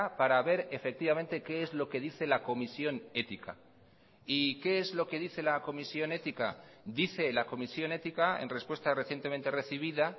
para ver efectivamente qué es lo que dice la comisión ética y qué es lo que dice la comisión ética dice la comisión ética en respuesta recientemente recibida